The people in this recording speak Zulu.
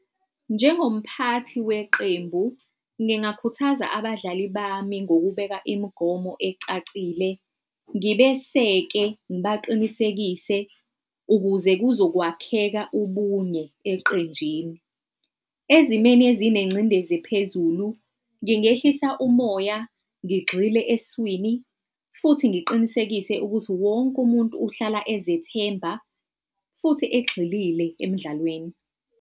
Njengomphathi weqembu, ngingakhuthaza abadlali bami ngokubeka imigomo ecacile, ngibeseke ngibaqinisekise, ukuze kuzokwakheka ubunye eqenjini. Ezimweni ezinengcindezi phezulu ngingehlisa umoya, ngigxile eswini futhi ngiqinisekise ukuthi wonke umuntu uhlala ezethemba futhi egxilile emdlalweni.